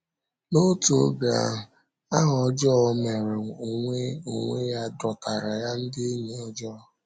N’otu oge ahụ, aha ọjọọ ọ mere onwe onwe ya dọtaara ya ndị enyi ọjọọ.